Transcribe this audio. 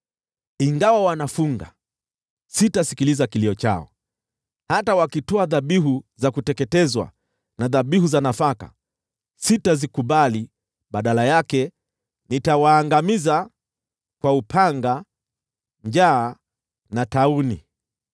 Ingawa wanafunga, sitasikiliza kilio chao; hata wakitoa dhabihu za kuteketezwa na dhabihu za nafaka, sitazikubali. Badala yake, nitawaangamiza kwa upanga, njaa na tauni.”